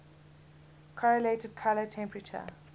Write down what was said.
correlated color temperature